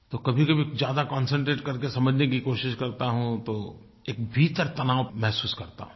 तो कभीकभी ज्यादा कॉन्सेंट्रेट करके समझने की कोशिश करता हूँ तो एक भीतर तनाव महसूस करता हूँ